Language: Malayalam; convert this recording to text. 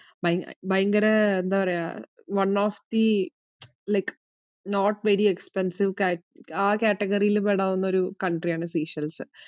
ഭയങ്ക~ ഭയങ്കര എന്താ പറയാ one of the like not very expensive കേറ്റ~ ആ category ല് പെടാവുന്ന ഒരു country യാണ് സീഷെൽസ്.